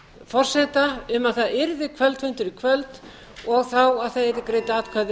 forseta um að það yrði kvöldfundur í kvöld og þá að það yrðu greidd atkvæði